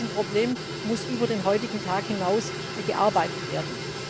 Das heißt, an diesem Problem muss über den heutigen Tag hinaus gearbeitet werden.